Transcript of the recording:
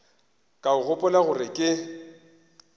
ka o gopola gore ke